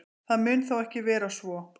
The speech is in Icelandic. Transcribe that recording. Það mun þó ekki vera svo.